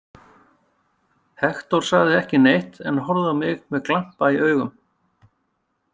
Hektor sagði ekki neitt en horfði á mig með glampa í augum.